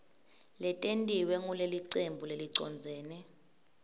letentiwe ngulelicembu lelicondzene